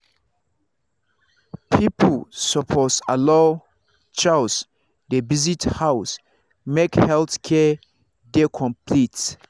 people suppose allow chws dey visit house make health care dey complete.